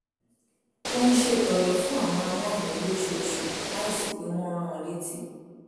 tó ń ṣètọrẹ fún àwọn aláìní lóṣooṣù láìsí pé wọ́n ń rán an létí